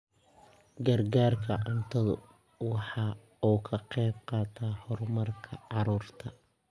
Gargaarka cuntadu waxa uu ka qayb qaataa horumarka carruurta.